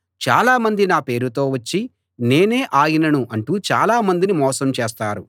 చాలా మంది నా పేరుతో వచ్చి నేనే ఆయనను అంటూ చాలా మందిని మోసం చేస్తారు